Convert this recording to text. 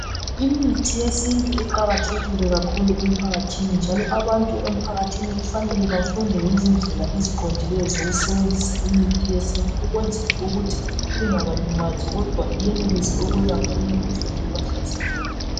Imithi yesintu iqakathekile kakhulu emphakathini njalo abantu emphakathini kufanele bafunde ngezindlela eziqondileyo zokusebenzisa imithi yesintu. Ukwenzela ukuthi ingabalimazi, kodwa iyenelise ukulapha imikhuhlane ebahlaseleyo.